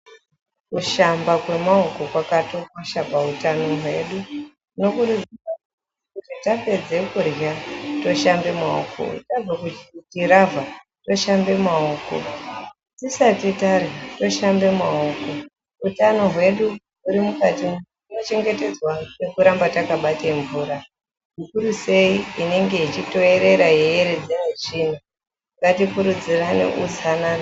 Kushamba kwemaoko kwakatokosha pautano hwedu. Nekuti tapedza kudyra toshamba maoko, tabva kuchiravha toshamba maoko. Tisati tadyra toshamba maoko. Utano hwedu huri mukati nekuchengetedza nekuramba takabata mvura. Zvikuru sei inenge ichitoerera yeieredza ichienda. Ngatikurudzirane utsanana.